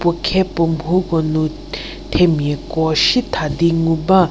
puo khe puo mhu ko nu themiako sietha di ngu ba.